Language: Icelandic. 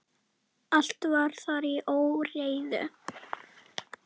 Allt var þar í óreiðu.